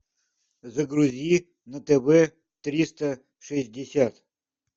загрузи на тв триста шестьдесят